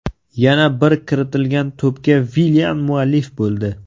Yana bir kiritilgan to‘pga Villian muallif bo‘ldi.